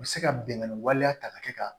U bɛ se ka binkani waleya ta ka kɛ ka